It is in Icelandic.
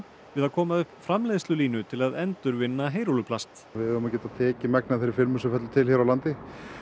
við að koma upp framleiðslulínu til að endurvinna heyrúlluplast við eigum að geta tekið megnið af þeirri filmu sem fellur til hér á landi